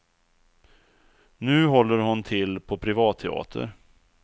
Nu håller hon till på privatteater.